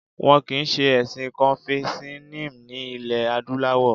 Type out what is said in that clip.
Wọn kìí ṣe ẹ̀sìn Confucianism ní ilẹ̀ adúláwọ̀